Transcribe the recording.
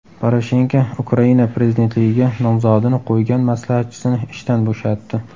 Poroshenko Ukraina prezidentligiga nomzodini qo‘ygan maslahatchisini ishdan bo‘shatdi.